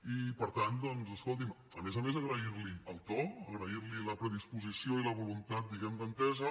i per tant doncs escolti’m a més a més agrairli el to agrair li la predisposició i la voluntat diguem ne d’entesa